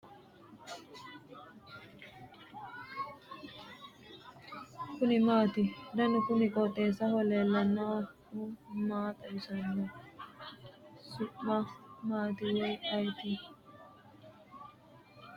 kuni maati ? danu kuni qooxeessaho leellannohu maa xawisanno su'mu maati woy ayeti ? kuni networke saysannoho ? anteenaho yaa dandiinanni konne ?